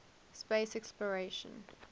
space exploration